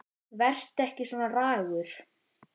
Vertu ekki svona ragur.